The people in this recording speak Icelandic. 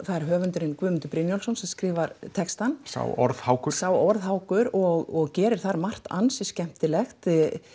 það er höfundurinn Guðmundur Brynjólfsson sem skrifar textann sá orðhákur sá orðhákur og gerir það margt ansi skemmtilegt